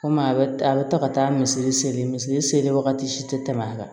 Komi a bɛ a bɛ taa ka taa misiri seli misiri seli wagati si tɛ tɛmɛ a kan